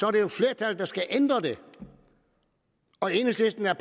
er det jo flertallet der skal ændre det og enhedslisten er